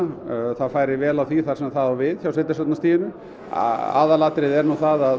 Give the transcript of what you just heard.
það færi vel á því þar sem það á við hjá sveitarstjórnarstiginu aðalmálið er að